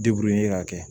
ka kɛ